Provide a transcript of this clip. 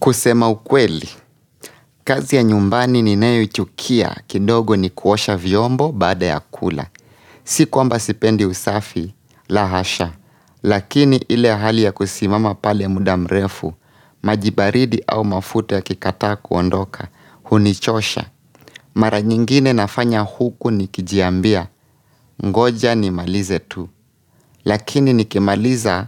Kusema ukweli, kazi ya nyumbani ninayochukia, kidogo ni kuosha vyombo baada ya kula. Si kwamba sipendi usafi, la hasha, lakini ile hali ya kusimama pale muda mrefu, maji baridi au mafuta yakikataa kuondoka, hunichosha. Mara nyingine nafanya huku nikijiambia, ngoja nimalize tu, lakini nikimaliza